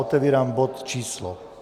Otevírám bod číslo